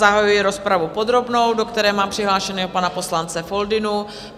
Zahajuji rozpravu podrobnou, do které mám přihlášeného pana poslance Foldynu.